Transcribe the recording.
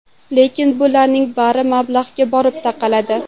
Lekin bularning bari mablag‘ga borib taqaladi.